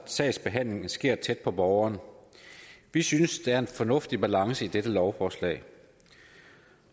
sagsbehandlingen sker tæt på borgeren vi synes der er en fornuftig balance i dette lovforslag